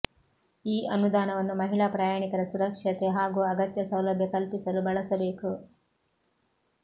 ಈ ಅನುದಾನವನ್ನು ಮಹಿಳಾ ಪ್ರಯಾಣಿಕರ ಸುರಕ್ಷತೆ ಹಾಗೂ ಅಗತ್ಯ ಸೌಲಭ್ಯ ಕಲ್ಪಿಸಲು ಬಳಸಬೇಕು